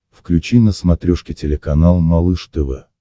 включи на смотрешке телеканал малыш тв